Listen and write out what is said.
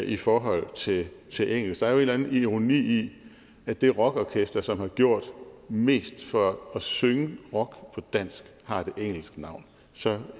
i forhold til til engelsk der er jo en eller andet ironi i at det rockorkester som har gjort mest for at synge rock på dansk har et engelsk navn så